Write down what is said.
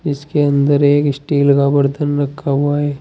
इसके अंदर एक स्टील का बर्तन रखा हुआ है।